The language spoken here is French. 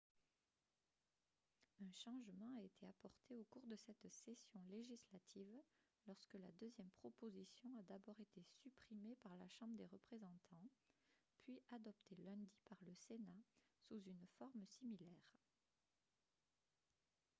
un changement a été apporté au cours de cette session législative lorsque la deuxième proposition a d'abord été supprimée par la chambre des représentants puis adoptée lundi par le sénat sous une forme similaire